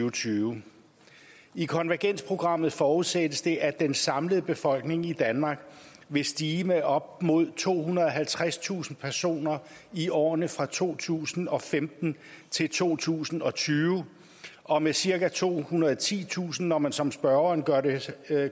og tyve i konvergensprogrammet forudsættes det at den samlede befolkning i danmark vil stige med op mod tohundrede og halvtredstusind personer i årene fra to tusind og femten til to tusind og tyve og med cirka tohundrede og titusind når man som spørgeren gør det ser